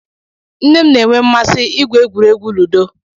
Nne m na-enwe mmasị igwu egwuregwu ludo.